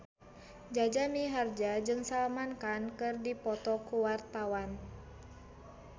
Jaja Mihardja jeung Salman Khan keur dipoto ku wartawan